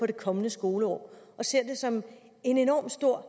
det kommende skoleår og ser det som et enormt stort